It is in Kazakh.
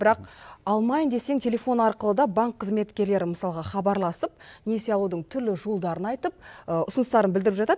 бірақ алмайын десең телефон арқылы да банк қызметкерлері мысалға хабарласып несие алудың түрлі жолдарын айтып ұсыныстарын білдіріп жатады